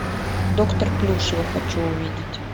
доктор плюшева хочу увидеть